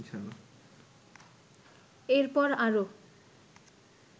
এর পর আরো